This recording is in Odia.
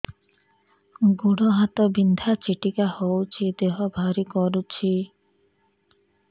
ଗୁଡ଼ ହାତ ବିନ୍ଧା ଛିଟିକା ହଉଚି ଦେହ ଭାରି କରୁଚି